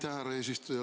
Aitäh, härra eesistuja!